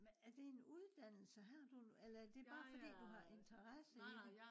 men er det en uddannelse har du en eller er det bare fordi du har interesse i det?